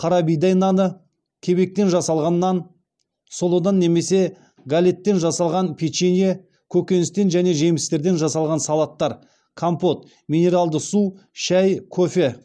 қарабидай наны кебектен жасалған нан сұлыдан немесе галеттен жасалған печенье көкөністен және жемістерден жасалған салаттар компот минералды су шәй кофе